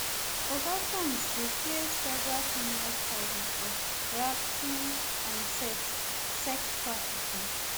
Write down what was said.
oga combs dey face federal criminal charges of racketeering and sex sex trafficking